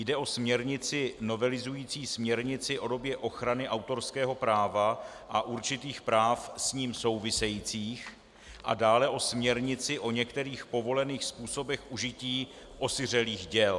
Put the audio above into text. Jde o směrnici novelizující směrnici o době ochrany autorského práva a určitých práv s ním souvisejících a dále o směrnici o některých povolených způsobech užití osiřelých děl.